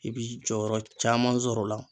I bi jɔyɔrɔ caman sɔr'o la